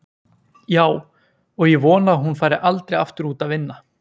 Já, og ég vona að hún fari aldrei aftur út að vinna.